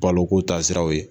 Balo ko ta siraw ye.